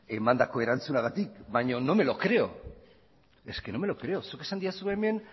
emandako erantzunagatik baina no me lo creo es que no me lo creo zuk esan didazu hemen